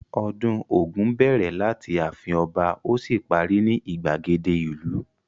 Ọdún Ògún bẹ̀rẹ̀ láti ààfin ọba ó sì parí ní ìgbàgede ìlú.